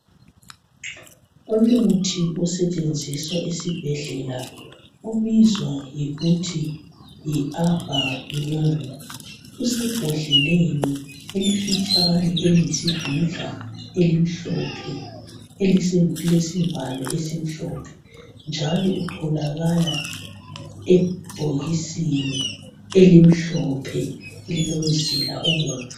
Umuthi osetshenziswa esibhedlela obizwa ngokuthi yi Abamune, usebhodleleni elifitshane, eliyisidudla elimhlophe elilesivalo esimhophe njalo utholakala ebhokisisni elimhlophe lilomzila obomvu